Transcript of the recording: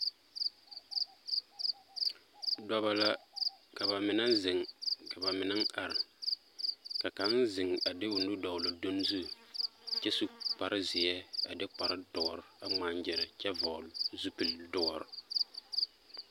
Dɔba la ka ba mine zeŋ ka ba, ka kaŋ zeŋ a de o nu dɔgle o dun zu kyɛ zu kparezeɛ a de kparedoɔre a ŋmaa-gyere kyɛ vɔgle zupil-doɔre.